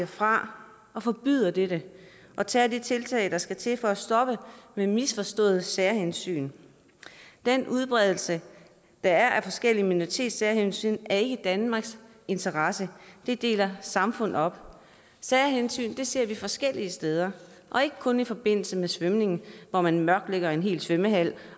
fra og forbyder dette og tager de tiltag der skal til for at stoppe de misforståede særhensyn den udbredelse der er af forskellige minoritetssærhensyn er ikke i danmarks interesse det deler samfundet op særhensyn ser vi forskellige steder og ikke kun i forbindelse med svømning hvor man mørklægger en hel svømmehal